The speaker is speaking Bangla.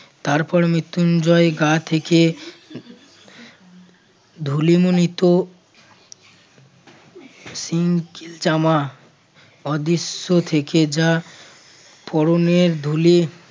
তারপর মৃত্যুঞ্জয় গা থেকে ধুলিমুনিত সিং চামা অদৃশ্য থেকে যা পরণের ধুলি